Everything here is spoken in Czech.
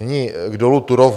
Nyní k dolu Turów.